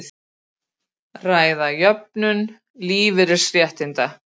Ræða jöfnun lífeyrisréttinda